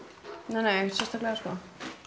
nei ekkert sérstaklega sko